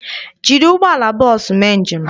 Jiri ụgbọala bọọsụ mee njem!